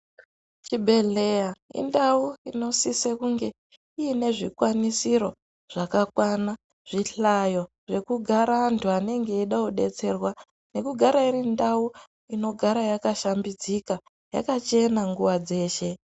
Chibhedhleya indawo inosise kunge inezvikwanisiro zvakakwana, zvihlayo zvekugara vantu vanenge vachide kudetserwa nekugara irindawo inogara yakashambidzika yakachena nguwa dzeshe.